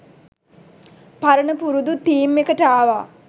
පරණ පුරුදු තීම් එකට ආවා.